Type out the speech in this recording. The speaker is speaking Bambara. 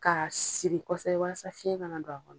Ka siri kɔsɛbɛ walasa fiyɛn kana don a kɔnɔ.